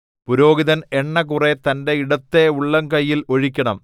പുരോഹിതൻ എണ്ണ കുറെ തന്റെ ഇടത്തെ ഉള്ളംകൈയിൽ ഒഴിക്കണം